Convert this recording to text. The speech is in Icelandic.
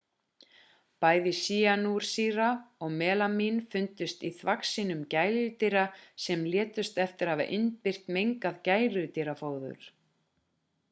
bæði sýanúrsýra og melamín fundust í þvagsýnum gæludýra sem létust eftir að hafa innbyrt mengað gæludýrafóður